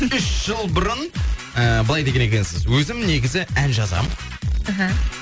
үш жыл бұрын ыыы былай деген екенсіз өзім негізі ән жазамын іхі